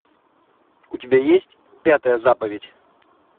у тебя есть пятая заповедь